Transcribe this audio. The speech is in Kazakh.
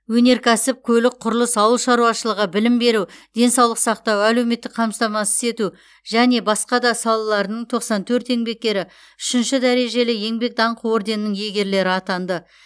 өнеркәсіп көлік құрылыс ауыл шаруашылығы білім беру денсаулық сақтау әлеуметтік қамтамасыз ету және және басқа да салалардың тоқсан төрт еңбеккері үшінші дәрежелі еңбек даңқы орденінің иегерлері атанды